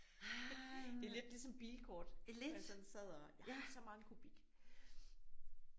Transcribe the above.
Det er lidt ligesom bilkort. Hvor jeg sådan sad og jeg har så mange kubik